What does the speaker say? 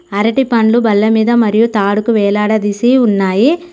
అరటిపండ్లు బల్లమీద మరియు తాడుకు వేలాడదీసి ఉన్నాయి.